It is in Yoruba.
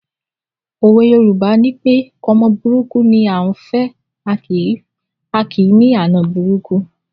Òwe Yorùbá nipé ọmọ burúkú ni à á fẹ̀, a kì í ní àna burúkú